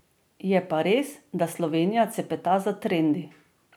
Je pa res, da Slovenija cepeta za trendi.